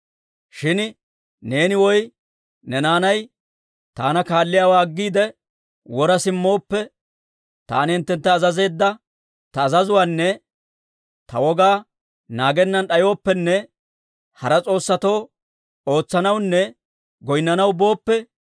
«Shin neeni woy ne naanay taana kaalliyaawaa aggiide wora simmooppe, taani hinttentta azazeedda ta azazuwaanne ta wogaa naagennan d'ayooppenne hara s'oossatoo ootsanawunne goynnanaw booppe,